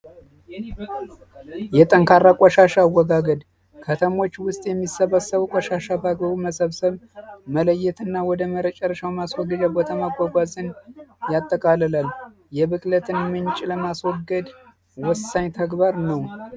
የጠንካራ ቆሻሻ አወጋገድ የሚጠራቀመው ቆሻሻዎች ውስጥ መሰብሰብ መለየትና ወደ መጨረሻው ቦታ መሰብሰብ ወይም መጓዝን ያጠቃልላል የምግብ ብክለትን ምንጭ ለማስወገድ ወሳኝ ተግባር ነው።